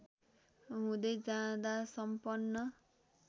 हुँदै जाँदा सम्पन्न